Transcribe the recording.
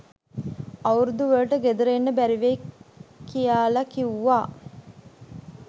අවුරුදුවලට ගෙදර එන්න බැරිවෙයි කියාල කිව්වා.